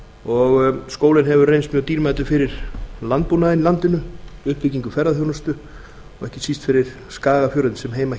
og skólinn hefur reynst mjög dýrmætur fyrir landbúnaðinn í landinu uppbyggingu ferðaþjónustu og ekki síst fyrir skagafjörðinn sem